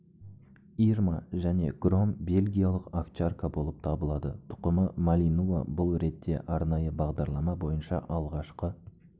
ирма және гром белгиялық овчарка болып табылады тұқымы малинуа бұл ретте арнайы бағдарлама бойынша алғашқы